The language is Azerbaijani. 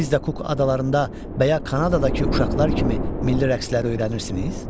Siz də kuk adalarında və ya Kanadadakı uşaqlar kimi milli rəqsləri öyrənirsiniz?